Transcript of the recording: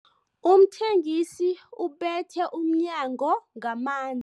Umthengisi ubethe umnyango ngaman